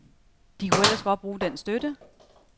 De kunne ellers godt bruge den støtte.